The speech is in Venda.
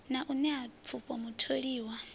na u nṋea pfufho mutholiwa